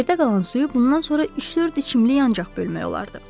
Yerdə qalan suyu bundan sonra üç-dörd içimlik ancaq bölmək olardı.